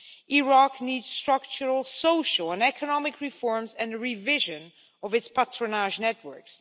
Iraq needs structural, social and economic reforms and revision of its patronage networks.